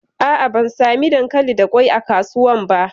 A'a, ban sami dankali da kwai a kasuwan ba.